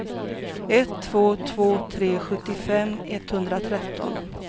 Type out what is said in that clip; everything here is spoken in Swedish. ett två två tre sjuttiofem etthundratretton